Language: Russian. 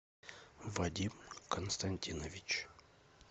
вадим константинович